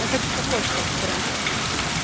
я хочу такой чтобы прям